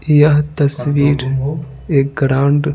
यह तस्वीर एक ग्राउंड --